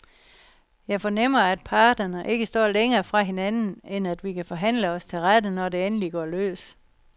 Jeg fornemmer, at parterne ikke står længere fra hinanden, end at vi kan forhandle os til rette, når det endelig går løs.